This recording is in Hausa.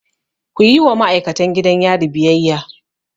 Kuyi wa ma'aikatan gidan yari biyayya!